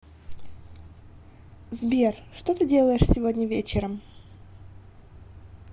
сбер что ты делаешь сегодня вечером